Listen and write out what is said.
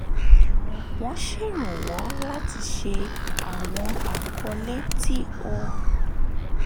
wọ́n ṣèrànwọ́ láti ṣe àwọn àkọọ́lẹ̀ tí ó